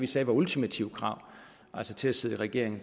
sagde var ultimative krav til at sidde i regering